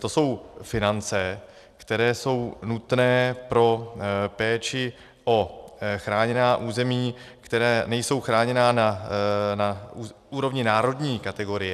To jsou finance, které jsou nutné pro péči o chráněná území, která nejsou chráněná na úrovni národní kategorie.